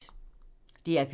DR P3